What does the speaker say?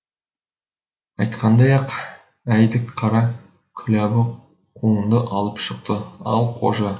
айтқандай ақ әйдік қара күләбі қауынды алып шықты ал қожа